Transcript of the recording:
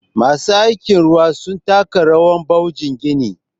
masu aiki ruwa sun taka rawabwajen gini